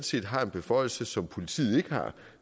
set har en beføjelse som politiet ikke har